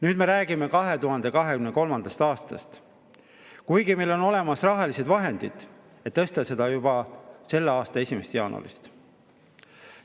Nüüd me räägime 2023. aastast, kuigi meil on olemas rahalised vahendid, et tõsta pensione juba selle aasta 1. jaanuarist.